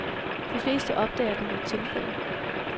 De fleste opdager den ved et tilfælde.